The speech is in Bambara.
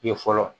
Ye fɔlɔ